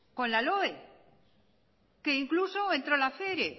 con la loe que incluso entró la fere